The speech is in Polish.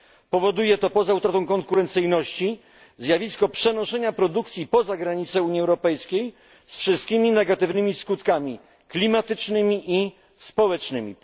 Powoduje to poza utratą konkurencyjności zjawisko przenoszenia produkcji poza granice Unii Europejskiej z wszystkimi negatywnymi skutkami, klimatycznymi i społecznymi.